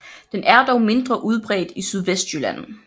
Den er dog mindre udbredt i Sydvestjylland